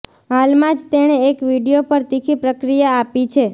હાલમાં જ તેણે એક વીડિયો પર તીખી પ્રતિક્રિયા આપી છે